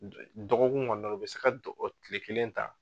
Dɔgɔkun kɔnɔna na i bɛ se ka tile kelen ta.